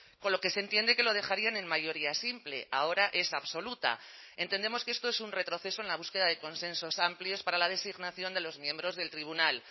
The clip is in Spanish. con lo que se entiende que lo dejarían en mayoría simple ahora esa absoluta entendemos que esto es un retroceso en la búsqueda de consensos amplios para la designación de los miembros del tribunal